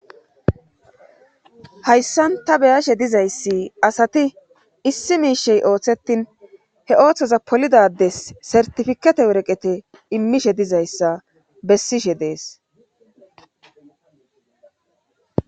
Hayssan ta beyashe dizayssi asati issi miishey ooththetin he ooththoza polidades sertifikate woreqete immishe dizayssa bessishe dees.